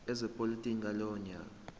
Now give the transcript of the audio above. ezepolitiki ngalowo nyaka